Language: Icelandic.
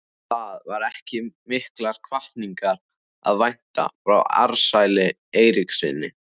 Það var ekki mikillar hvatningar að vænta frá Ársæli Eiríkssyni.